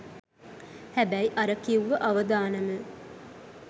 හැබැයි අර කිව්ව අවදානම